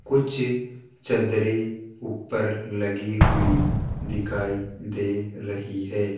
कुछ चद्दरें ऊपर लगी हुई दिखाई दे रही है।